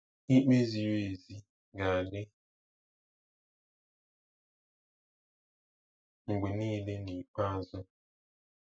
Ikpe ziri ezi ga-adị mgbe niile n'ikpeazụ.